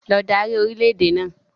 Lọ dárí orìlẹ̀ èdè náà!